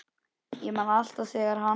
Ég man alltaf þegar hann